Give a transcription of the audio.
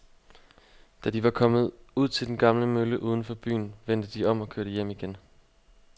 Da de var kommet ud til den gamle mølle uden for byen, vendte de om og kørte hjem igen.